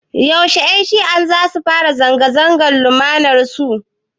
Yaushe Ƴan shi'ar zasu fara zanga-zangar lumanar su?